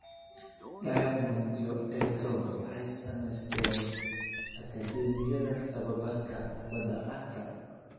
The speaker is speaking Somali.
Diamond iyo Etoo waxay samaysteen akadeemiyada tababarka kubbadda cagta